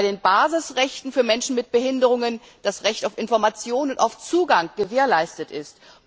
bei den Basisrechten für Menschen mit Behinderungen das Recht auf Information und auf Zugang gewährleistet ist.